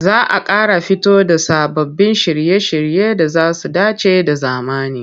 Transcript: Za a ƙara fito da sababbin shirye-shirye da za su dace da zamani.